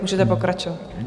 Můžete pokračovat.